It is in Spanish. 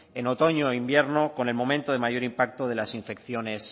en otoño e invierno con el momento de mayor impacto de las infecciones